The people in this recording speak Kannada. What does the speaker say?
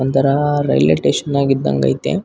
ಒಂತರ ರೈಲ್ವೆ ಟೇಷನ್ ನಾಗ ಇದ್ದಂಗೈತೆ.